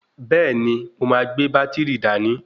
Bẹ́ẹ̀ni, mo máa gbé bátìrì dání.